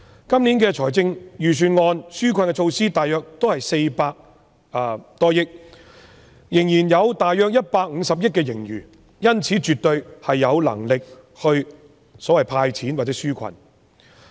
今年預算案的紓困措施大約是400多億元，仍然有大約150億元盈餘，因此絕對有能力"派錢"或紓困。